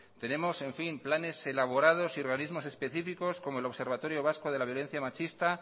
tenemos planes elaborados y organismos específicos como el observatorio vasco de la violencia machista